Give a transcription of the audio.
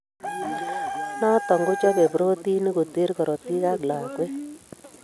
Noton kochobe protinik koteer korotik ab lakwet